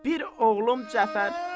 Bir oğlum Cəfər.